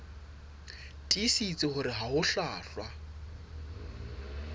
tiisitse hore ha ho hlwahlwa